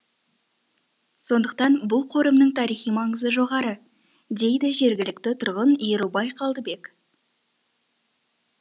сондықтан бұл қорымның тарихи маңызы жоғары дейді жергілікті тұрғын ерубай қалдыбек